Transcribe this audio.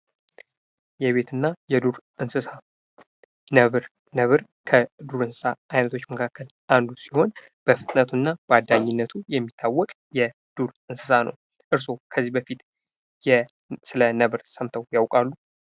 የቤትና የዱር እንሰሳ ነበር ከዱር እንሰሳ አይነቶች መካከል አንዱ ሲሆን በፍጥነቱና በአዳኝነቱ የሚታወቅ የዱር እንሰሳ ነው። እርስዎ ከዚህ በፊት ስለነብር ሰምተው ያውቃሉ?